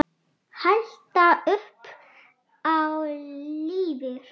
Halda upp á lífið.